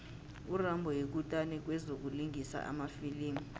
urambo yikutani kwezokulingisa emafilimini